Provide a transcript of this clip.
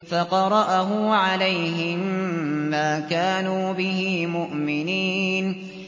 فَقَرَأَهُ عَلَيْهِم مَّا كَانُوا بِهِ مُؤْمِنِينَ